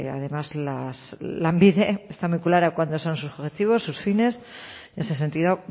además lanbide está muy claro cuáles o son sus objetivos sus fines en ese sentido